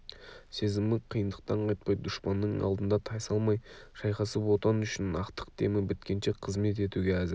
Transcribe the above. сезімі қиындықтан қайтпай дұшпанның алдында тайсалмай шайқасып отан үшін ақтық демі біткенше қызмет етуге әзір